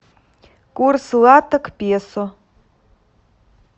курс лата к песо